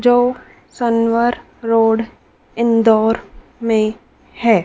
जो सनवर रोड इंदौर में है।